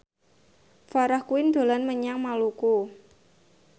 Farah Quinn dolan menyang Maluku